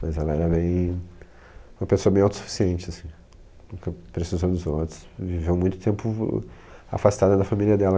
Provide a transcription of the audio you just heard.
Mas ela era bem, uma pessoa bem autossuficiente, nunca precisou dos outros, viveu muito tempo afastada da família dela.